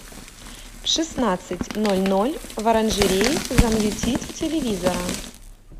в шестнадцать ноль ноль в оранжерее замьютить у телевизора